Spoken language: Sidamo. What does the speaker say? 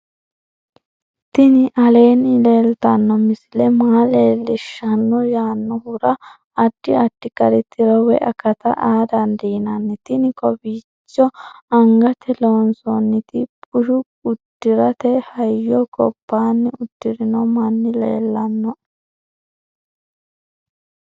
tini aleenni leeltanno misile maa leellishshanno yaannohura addi addi gari tiro woy akata aa dandiinanni tini kowiicho angatenni loonsoonniti busha uddirate hayyo gobbanni udirino mani leellannoe